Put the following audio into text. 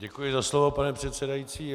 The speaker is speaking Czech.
Děkuji za slovo, pane předsedající.